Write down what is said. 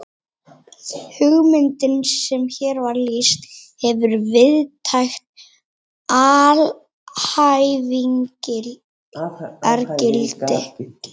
Hugmyndin sem hér var lýst hefur víðtækt alhæfingargildi.